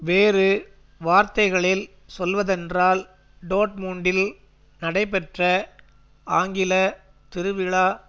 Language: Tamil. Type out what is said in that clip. வேறு வார்த்தைகளில் சொல்வதென்றால் டோட்மூண்டில் நடைபெற்ற ஆங்கிள திருவிழா